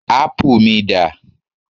ápù mi dà